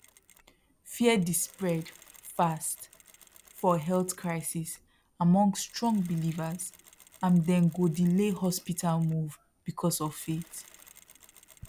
fear the spread fast for health crisis among strong believers and they go delay hospital move because of faith